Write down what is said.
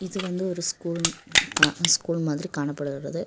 இது வந்து ஒரு ஸ்கூல் கா ஸ்கூல் மாதிரி காணப்படுகிறது.